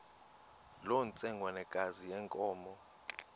loo ntsengwanekazi yenkomo